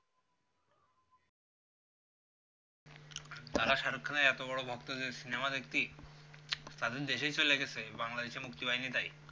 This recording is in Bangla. তারা shahrukh khan এর এতো বড়ো ভক্ত যে সিনেমা দেখতেই তাদের দেশেই চলে গেছে বাংলাদেশে মুক্তি পাইনি তাই